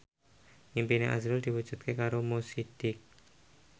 impine azrul diwujudke karo Mo Sidik